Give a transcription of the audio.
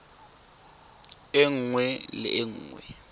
e nngwe le e nngwe